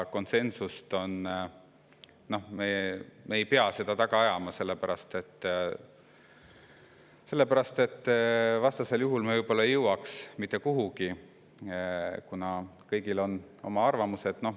Konsensust me ei pea taga ajama, sellepärast et vastasel juhul me võib-olla ei jõuakski mitte kuhugi, kuna kõigil on oma arvamused.